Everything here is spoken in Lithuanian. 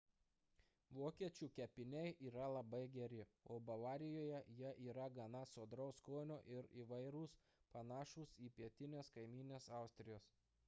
vokiečių kepiniai yra labai geri o bavarijoje jie yra gana sodraus skonio ir įvairūs panašūs į pietinės kaimynės austrijos